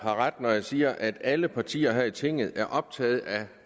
har ret når jeg siger at alle partier her i tinget er optaget af